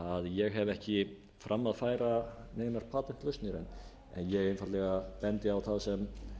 ég hef ekki fram að færa neinar patentlausnir en ég bendi einfaldlega á það sem